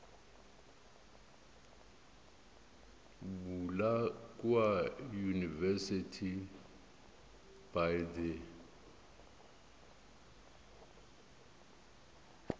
bula kua university by the